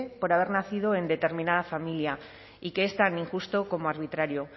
por haber nacido en determinada familia y que es tan injusto como arbitrario